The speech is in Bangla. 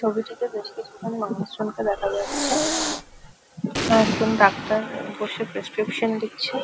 ছবিটিতে বেশ কিছুজন মানুষজন কে দেখা যাচ্ছে একজন ডাক্তার আহ বসে প্রেসক্রিপশন লিখছে ।